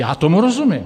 Já tomu rozumím.